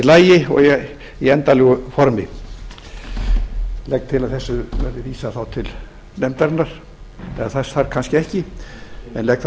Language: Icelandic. lagi og í endanlegu formi ég legg til að þessu verði vísað til nefndarinnar eða þess þarf kannski ekki en ég legg það þá í